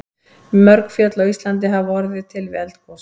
Mörg fjöll á Íslandi hafa orðið til við eldgos.